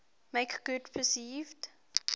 make good perceived